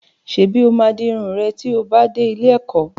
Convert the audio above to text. Ṣèbí ó máa di irun rẹ tí ó bá dé ilé-ẹ̀kọ́?